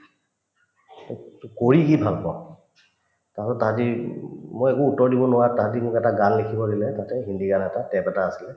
) তই‍ তোক কৰি কি ভাল পাৱ তাৰপিছত তাহাতে উম মই একো উত্তৰ দিব নোৱাৰাত তাহাতে মোক এটা গান লিখিব দিলে তাতে হিন্দী গান এটা tap এটা আছিলে